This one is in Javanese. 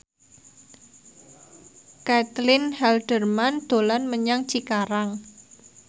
Caitlin Halderman dolan menyang Cikarang